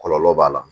Kɔlɔlɔ b'a la